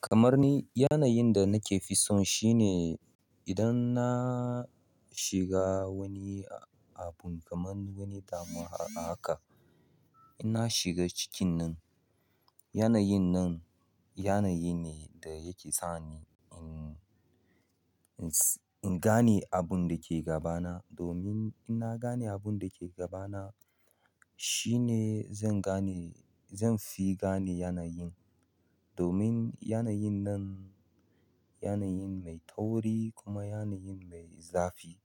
Kamar ni, yanayin da nake fi son shi ne idan na shiga wani abun kamar wani damuwa haka. Ina shiga cikin nan. Yanyinnanan yanayi ne da ke sani ingane abinda ke gabana domin in na gane abun da ke gabana shine zan gane, zan fi gane yanayin. Domin yanayin nan yanayin mai tauri kuma yanayin mai zafi.